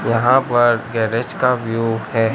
यहां पर गैरेज का व्यू है।